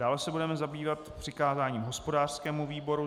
Dále se budeme zabývat přikázáním hospodářskému výboru.